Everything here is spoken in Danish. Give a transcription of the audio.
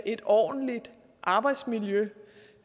et ordentligt arbejdsmiljø